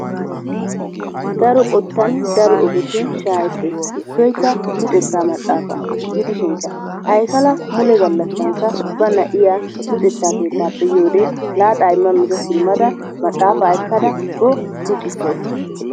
Daro qottan daro ogetun shaahettees, issoykka luxettaa maxaafa gidishinkka Aykala mule gallassankka ba na'iya luxetta keettaappe yiyode laaxa imma miza simmada maxaafa ekkada o luxxissawusu.